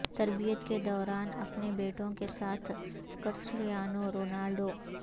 تربیت کے دوران اپنے بیٹوں کے ساتھ کرسٹریانو رونالڈو